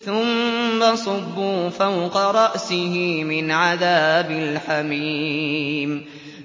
ثُمَّ صُبُّوا فَوْقَ رَأْسِهِ مِنْ عَذَابِ الْحَمِيمِ